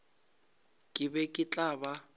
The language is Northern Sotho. ke be ke tla ba